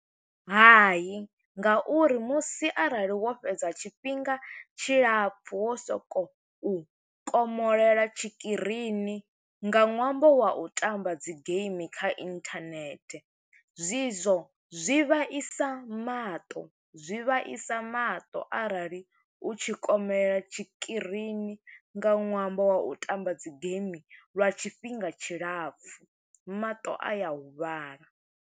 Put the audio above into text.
Hai, nga uri musi arali wo fhedza tshifhinga tshilapfu wo soko u komolela tshikirini, nga ṅwambo wa u tamba dzi game kha inthanethe, zwi zwo zwi vhaisa maṱo. Zwi vhaisa maṱo, arali u tshi komolela tshikirini nga ṅwambo wa u tamba dzi game lwa tshifhinga tshilapfu, maṱo a ya huvhala.